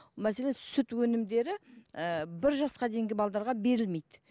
мәселен сүт өнімдері ііі бір жасқа дейінгі берілмейді